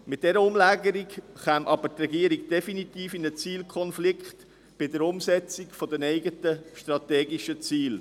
Mit dieser Umlagerung käme die Regierung jedoch definitiv in einen Zielkonflikt bei der Umsetzung der eigenen strategischen Ziele.